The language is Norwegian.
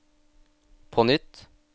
på nytt